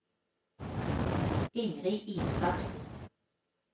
Ingrid Isaksen